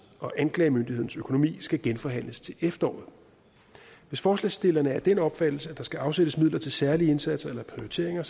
og anklagemyndighedens økonomi skal genforhandles til efteråret hvis forslagsstillerne er af den opfattelse at der skal afsættes midler til særlige indsatser eller prioriteringer